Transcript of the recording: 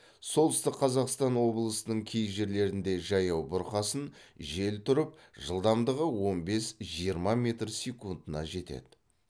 солтүстік қазақстан облысының кей жерлерінде жаяу бұрқасын жел тұрып жылдамдығы он бес жиырма метр секундына жетеді